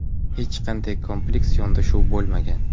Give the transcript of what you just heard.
Hech qanday kompleks yondashuv bo‘lmagan.